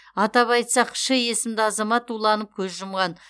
атап айтсақ ш есімді азамат уланып көз жұмған